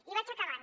i vaig acabant